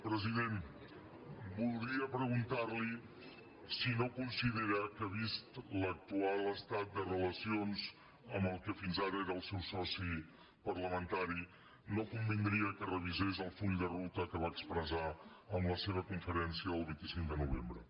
presi·dent voldria preguntar·li si no considera que vist l’ac·tual estat de relacions amb el que fins ara era el seu soci parlamentari no convindria que revisés el full de ruta que va expressar en la seva conferència del vint cinc de novembre